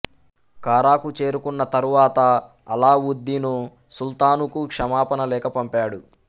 కారాకు చేరుకున్న తరువాత అలావుద్దీను సుల్తానుకు క్షమాపణ లేఖ పంపాడు